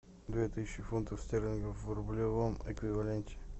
две тысячи фунтов стерлингов в рублевом эквиваленте